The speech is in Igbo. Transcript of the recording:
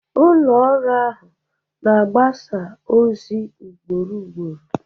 Ụlọ ọrụ ahụ na-agbasa ozi ugboro ugboro